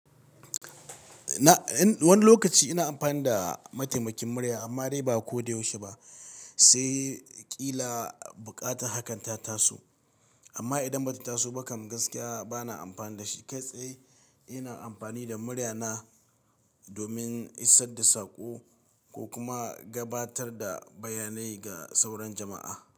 Na, in wani lokaci ina amfani da mataimakin murya amma dai ba ko da yaushe ba, sai ƙila buƙatar hakan ta taso. Amma idan bata taso ba kam gaskiya bana amfani da shi. Kai tsaye ina amfani da muryana domin isar da saƙo ko kuma gabatar da bayanai ga sauran jama'a.